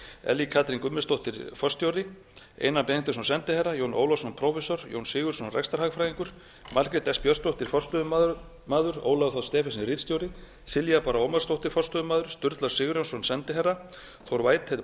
ellý katrín guðmundsdóttir forstjóri einar benediktsson sendiherra jón ólafsson prófessor jón sigurðsson rekstrarhagfræðingur margrét s björnsdóttir forstöðumaður ólafur þ stephensen ritstjóri silja bára ómarsdóttir forstöðumaður sturla sigurjónsson sendiherra þór whitehead